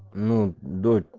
ну до